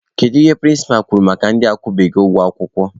Gịnị ka prịnsịpa kwuru maka ndị akwụbeghị ụgwọ akwụkwọ?